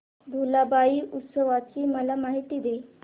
भुलाबाई उत्सवाची मला माहिती दे